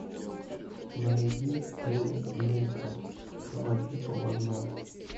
найди эрик нейтрон два типа в одном